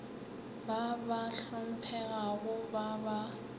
ba ba hlomphegago ba ba